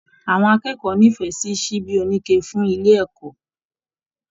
Àwọn akẹ́kọ̀ọ́ n'ifẹ sí síbí onike fún ilé ẹkọ.